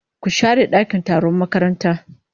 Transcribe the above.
Ku share dakin taron makaranta